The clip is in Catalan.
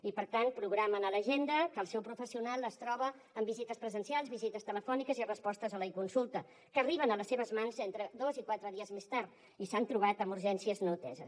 i per tant programen a l’agenda que el seu professional es troba amb visites presencials visites telefòniques i respostes a l’econsulta que arriben a les seves mans entre dos i quatre dies més tard i s’han trobat amb urgències no ateses